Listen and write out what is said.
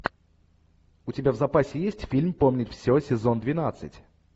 у тебя в запасе есть фильм помнить все сезон двенадцать